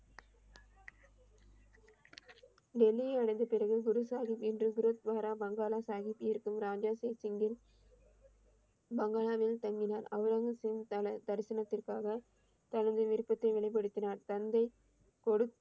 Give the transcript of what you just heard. டெல்லியை அடைந்த பிறகு குரு சாஹிப் என்று குருத்வாரா மாங்கால சாஹிப் இருக்கும் ராஜா சிங்க் சிங்கின் பங்களாவில் தங்கினார் அவுரங்கசீப் தரிசனத்திற்காக தனது விருப்பத்தை வெளிப்படுத்தினார் தந்தை கொடு